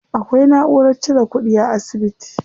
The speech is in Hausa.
Akwai naʼurar cire kuɗi a asibiti.